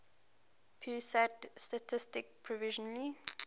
pusat statistik provisionally